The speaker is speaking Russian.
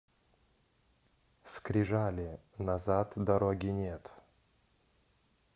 скрижали назад дороги нет